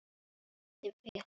Já, svona var amma.